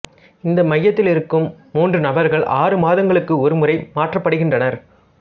இந்த மையத்தில் இருக்கும் மூன்று நபர்கள் ஆறு மாதங்களுக்கு ஒருமுறை மாற்றப்படுகின்றனர்